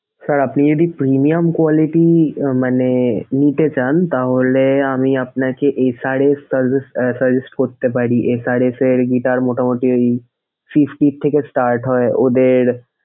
sir আপনি যদি premium quality মানে নিতে চান তাহলে আমি আপনাকে SRS suggest করতে পারি। SRS এর guitar মোটামোটি fifty থেকে start হয় ওদের।